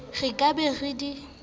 re ka be re di